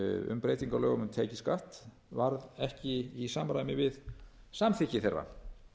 um breytingu á lögum um tekjuskatt varð ekki í samræmi við samþykki þeirra